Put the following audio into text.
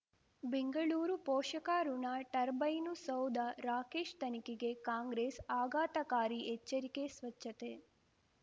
ಬೆಂಗಳೂರು ಪೋಷಕಋಣ ಟರ್ಬೈನು ಸೌಧ ರಾಕೇಶ್ ತನಿಖೆಗೆ ಕಾಂಗ್ರೆಸ್ ಆಘಾತಕಾರಿ ಎಚ್ಚರಿಕೆ ಸ್ವಚ್ಛತೆ